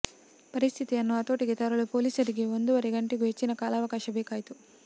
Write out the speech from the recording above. ಪರಿಸ್ಥಿತಿಯನ್ನು ಹತೋಟಿಗೆ ತರಲು ಪೊಲೀಸರಿಗೆ ಒಂದೂವರೆ ಗಂಟೆಗೂ ಹೆಚ್ಚಿನ ಕಾಲಾವಕಾಶ ಬೇಕಾಯಿತು